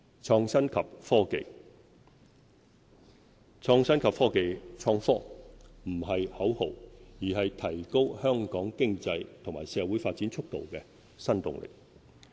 創新及科技不是口號，而是提高香港經濟和社會發展速度的新動力。